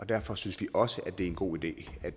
derfor synes vi også det er en god idé at